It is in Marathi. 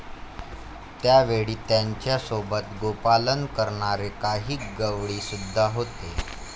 त्यावेळी त्यांच्या सोबत गोपालन करणारे काही गवळीसुद्धा होते.